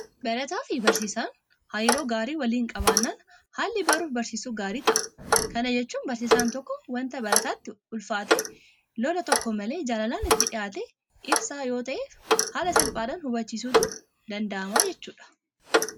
Barataafi barsiisaan hariiroo gaarii waliin qabaannaan haalli baruufi barsiisuu gaarii ta'a. Kana jechuun barsiisaan tokko waanta barataatti ulfaate lola tokko malee jaalalaan itti dhiyaatee ibsaaf yoota'e haala salphaadhaan hubachiisuutu danda'ama jechuudha.